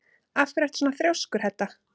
Af hverju ertu svona þrjóskur, Hedda?